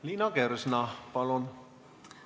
Liina Kersna, palun!